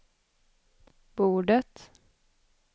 bordet